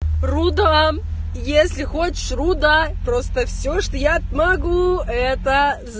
рудам если хочешь руда просто все что я смогу это з